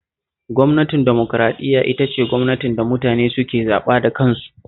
Gwamnatin dimokuraɗiyya ita ce gwamnatin da mutane suke zaɓa da kansu